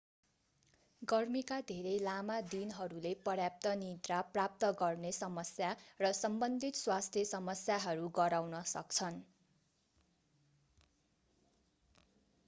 गर्मीका धेरै लामा दिनहरूले पर्याप्त निद्रा प्राप्त गर्ने समस्या र सम्बन्धित स्वास्थ्य समस्याहरू गराउन सक्छन्